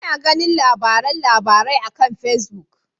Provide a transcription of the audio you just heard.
Ina ganin labaran labarai akan Pacebook.